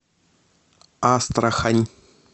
астрахань